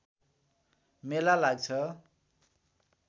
मेला लाग्छ